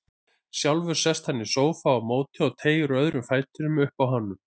Sjálfur sest hann í sófa á móti og teygir úr öðrum fætinum uppi á honum.